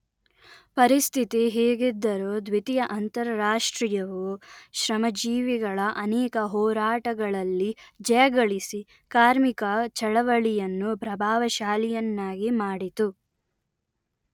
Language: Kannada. ಪರಿಸ್ಥಿತಿ ಹೀಗಿದ್ದರೂ ದ್ವಿತೀಯ ಅಂತಾರಾಷ್ಟ್ರೀಯವು ಶ್ರಮಜೀವಿಗಳ ಅನೇಕ ಹೋರಾಟಗಳಲ್ಲಿ ಜಯಗಳಿಸಿ ಕಾರ್ಮಿಕ ಚಳವಳಿಯನ್ನು ಪ್ರಭಾವಶಾಲಿಯನ್ನಾಗಿ ಮಾಡಿತು